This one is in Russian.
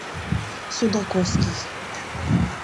судаковский